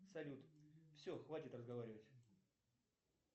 салют все хватит разговаривать